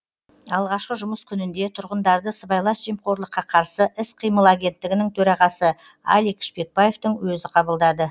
алғашқы жұмыс күнінде тұрғындарды сыбайлас жемқорлыққа қарсы іс қимыл агенттігінің төрағасы алик шпекбаевтың өзі қабылдады